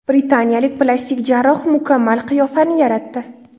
Britaniyalik plastik jarroh mukammal qiyofani yaratdi.